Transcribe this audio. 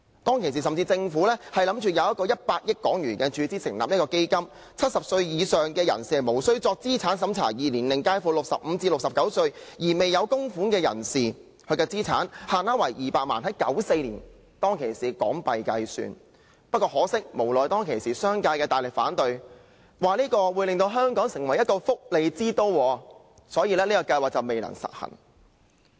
當時，政府甚至計劃注資100億港元成立資金 ，70 歲以上人士無須作資產審查；而年齡介乎65歲至69歲而未有供款的人士，資產限額為200萬元，這是在1994年以港元計算，但很可惜，無奈當時商界大力反對，指措施會令香港成為福利之都，所以計劃最終未能實行。